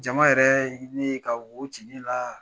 Jama yɛrɛ ye ne ye ka wo ci ne la